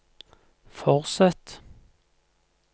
fortsett